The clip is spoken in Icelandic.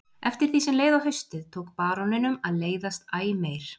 Eftir því sem leið á haustið tók baróninum að leiðast æ meir.